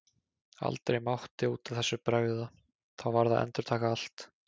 Aldrei mátti út af þessu bregða, þá varð að endurtaka allt.